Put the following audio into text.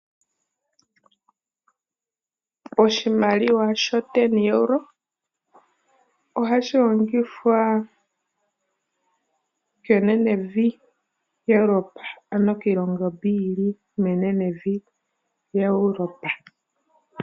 Oshimaliwa shooEuro omulongo ohashi longithwa kenenevi lyaEuropa, ano kiilongo mbyoka yi li menenevi lyaEuropa.